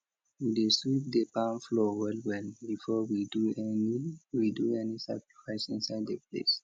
we dey sweep the barn floor wellwell before we do any we do any sacrifice inside the place